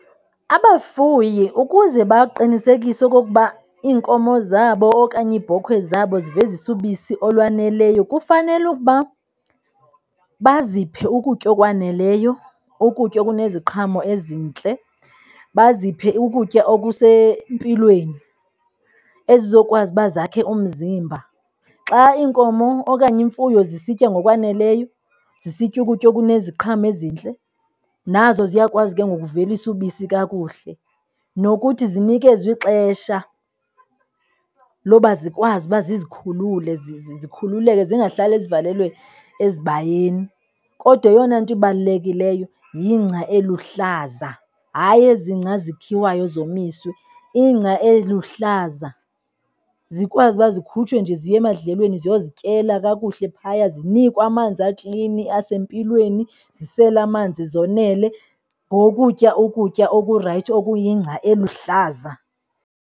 Abafuyi ukuze baqinisekise okokuba iinkomo zabo okanye iibhokhwe zabo zivezisa ubisi olwaneleyo kufanele ukuba baziphe ukutya okwaneleyo, ukutya okuneziqhamo ezintle, baziphe ukutya okusempilweni, ezizokwazi uba zakhe umzimba. Xa iinkomo okanye imfuyo zisitya ngokwaneleyo, zisitya ukutya okuneziqhamo ezintle, nazo ziyakwazi ke ngoku uvelisa ubisi kakuhle. Nokuthi zinikezwe ixesha loba zikwazi uba zikhulule zikhululeke zingahlali zivalelwe esibayeni. Kodwa eyona nto ibalulekileyo yingca eluhlaza, hayi ezi ngca zikhiwayo zomiswe. Ingca eluhlaza zikwazi uba zikhutshwe nje ziye emandlelweni, ziyozityela kakuhle phaya. Zinikwe amanzi, aklini asempilweni, zisele amanzi zonele ngokutya ukutya okurayithi, okuyingca eluhlaza.